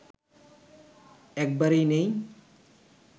একবারেই নেই